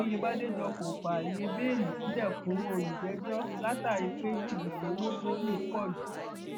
òyebàdéjọ kò fààyè bẹẹlí sílẹ fún olùjẹjọ látàrí pé jìbìtì owó tó lù pọ jù